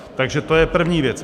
Takže to je první věc.